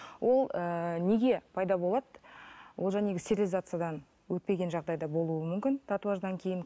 ол ыыы неге пайда болады ол стерилизациядан өтпеген жағдайда болуы мүмкін татуаждан кейін